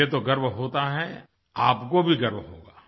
मुझे तो गर्व होता है आपको भी गर्व होगा